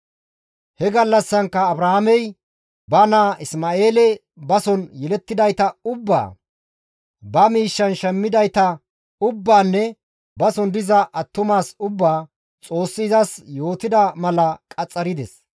He gallassankka Abrahaamey ba naa Isma7eele bason yelettidayta ubbaa, ba miishshan shammidayta ubbaanne bason diza attumas ubbaa, Xoossi izas yootida mala qaxxarides.